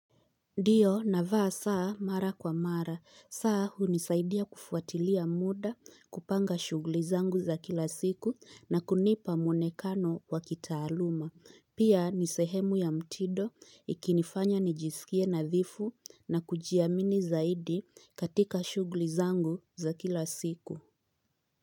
Ndiyo navaa saa mara kwa mara, saa hunisaidia kufuatilia muda, kupanga shughuli zangu za kila siku na kunipa mwonekano wa kitaaluma. Pia ni sehemu ya mtindo ikinifanya nijisikie nadhifu na kujiamini zaidi katika shughuli zangu za kila siku.